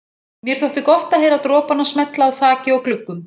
Mér þótti gott að heyra dropana smella á þaki og gluggum.